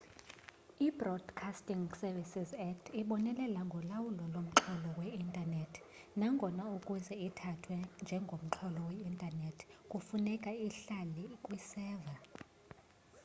ibroadcasting services act ibonelela ngolawulo lomxholo we-intanethi nangona ukuze ithathwe njengomxholo we-intanethi kufuneka ihlale kwiseva